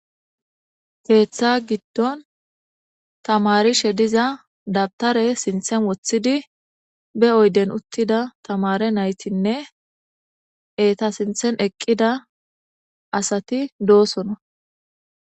Keeth giddon tamarishe diza , dawutare Sinthan wothidi be oyden utid tamare naytine eta sinthan eqida asati dosona.